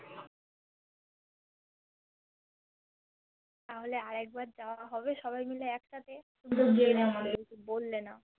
তাহোলে আরএকবার জবাহবে সবাইমিলে একসাথে বল্লে না